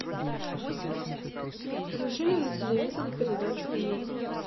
включи мне на телевизоре передачу мир